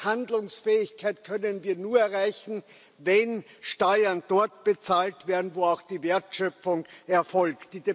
Handlungsfähigkeit können wir nur erreichen, wenn Steuern dort bezahlt werden, wo auch die Wertschöpfung erfolgt.